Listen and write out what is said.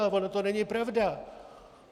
Ale ono to není pravda.